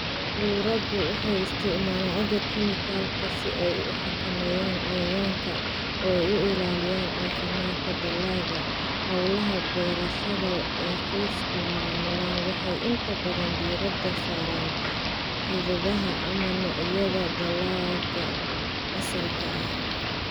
Ururadu waxay isticmaalaan agab kiimikaad si ay u xakameeyaan cayayaanka oo ay u ilaaliyaan caafimaadka dalagga. Hawlaha beerashada ee qoysku maamulaan waxay inta badan diiradda saaraan hidaha ama noocyada dalagga asalka ah.